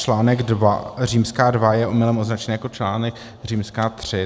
Článek dva římská dva je omylem označen jako článek římská tři.